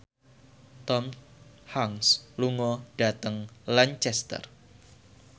Tom Hanks lunga dhateng Lancaster